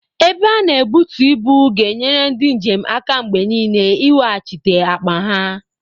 Ebe a na-ebutu ibu ga na enyere ndị njem aka mgbe niile iweghachite akpa ha.